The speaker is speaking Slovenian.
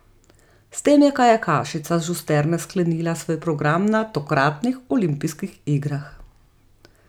S tem je kajakašica Žusterne sklenila svoj program na tokratnih olimpijskih igrah.